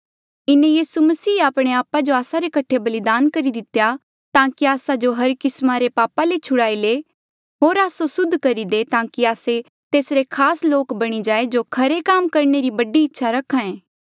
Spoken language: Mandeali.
इन्हें यीसू मसीहे आपणे आपा जो आस्सा रे कठे बलिदान करी दितेया ताकि आस्सा जो हर किस्मा रे पापा ले छुड़ाई ले होर आस्सो सुद्ध करी दे ताकि आस्से तेसरे खास लोक बणी जाये जो खरे काम करणे री बड़ी इच्छा रखे